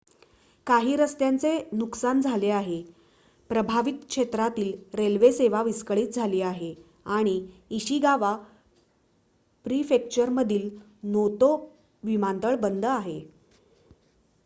काही रस्त्यांचे नुकसान झाले आहे प्रभावित क्षेत्रातील रेल्वे सेवा विस्कळीत झाली आहे आणि इशिगावा प्रीफेक्चरमधील नोतो विमानतळ बंद आहे